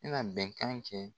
I na bɛnkan kɛ